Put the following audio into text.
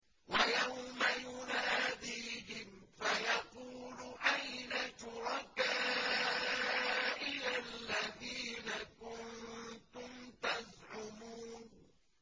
وَيَوْمَ يُنَادِيهِمْ فَيَقُولُ أَيْنَ شُرَكَائِيَ الَّذِينَ كُنتُمْ تَزْعُمُونَ